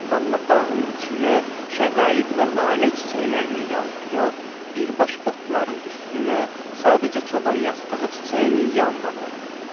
Amma bağın içinə, şəqaiq və lalə çiçəklərinin yanına yox, birbaşa otların üstünə, sadəcə çoban yastığı çiçəyinin yanına qondu.